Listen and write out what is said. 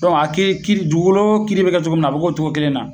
Dɔnk'a kiiri kiiri dugukoloko kiiri be kɛ cogo min na a be k'o cogo kelen na